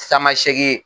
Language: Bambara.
Tamasegi